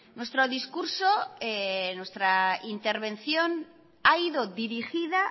nuestro discurso nuestra intervención ha ido dirigida